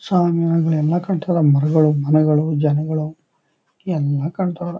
ಸ್ವಾಮೀ ಎಲ್ಲ ಕಟ್ಟರ ಮನೆಗಳು ಮರಗಳು ಜನಗಳು ಎಲ್ಲ ಕಟ್ಯರಾ.